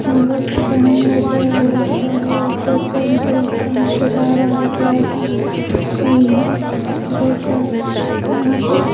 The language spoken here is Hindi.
यहाँ पर पलंग नज़र आ रहा है ऊपर चढ़ने का रास्ता नज़र आ रहा है लाइट लगी है बहुत सारा यहाँ पे --